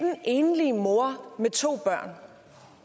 enlige mor med to børn